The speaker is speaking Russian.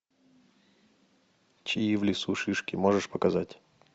чьи в лесу шишки можешь показать